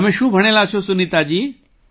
તમે શું ભણેલાં છો સુનીતાજી